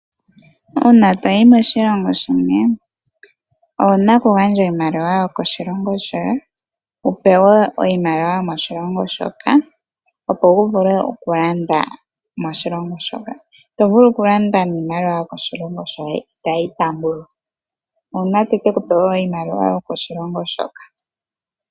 Uuna toyi moshilongo shimwe owuna oku gandja iimaliwa yokoshilongo shoye wu pewe iimaliwa yomoshilongo shoka opo wu vule oku landa moshilongo shoka, ito vulu oku landa niimaliwa yokoshilongo shoye itayi taambwa uuna teke ku pa wo iimaliwa yokoshilongo shoka.